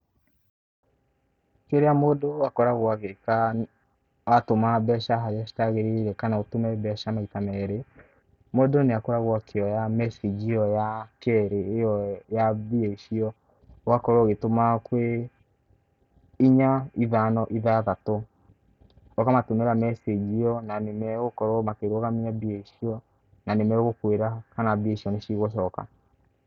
Rĩrĩa mũndũ akogoragwo agĩka atũma mbeca harĩa citagĩrĩire kana ũtũme mbeca maita merĩ, mũndũ nĩakoragwo akĩoya mecĩnji ĩyo ya kerĩ, ĩyo ya mbia icio, ũgakorwo ũgĩtũma kwĩ, inya ithano ithathatũ. Ũkamatũmĩra mecĩnji ĩyo, na nĩmagũkorwo makĩrũgamia mbia icio, na nĩmagũkwĩra kana mbia icio nĩcigũcoka.